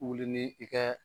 Wuli ni i kɛ.